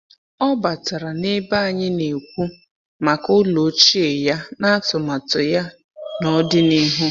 Ọ batara n’ebe anyị na-ekwu maka ụlọ ochie ya na atụmatụ ya n’ọdịnihu.